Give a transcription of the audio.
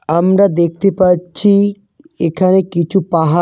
আমরা দেখতে পাচ্ছি এখানে কিছু পাহাড়।